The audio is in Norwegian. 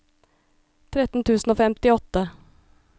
tretten tusen og femtiåtte